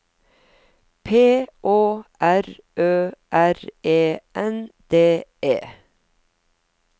P Å R Ø R E N D E